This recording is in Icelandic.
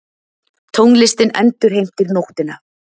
Tónlistin endurheimtir nóttina.